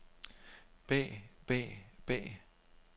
bag bag bag